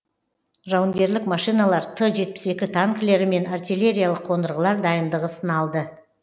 жауынгерлік машиналар т жетпіс екі танкілері мен артиллериялық қондырғылар дайындығы сыналды